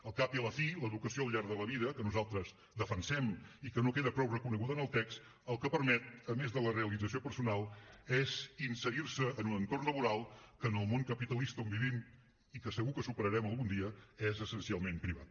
al cap i a la fi l’educació al llarg de la vida que nosaltres defensem i que no queda prou reconeguda en el text el que permet a més de la realització personal és inserir se en un entorn laboral que en el món capitalista on vivim i que segur que superarem algun dia és essencialment privat